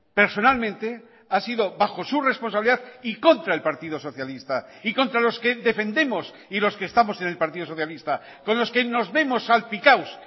personalmente ha sido bajo su responsabilidad y contra el partido socialista y contra los que defendemos y los que estamos en el partido socialista con los que nos vemos salpicados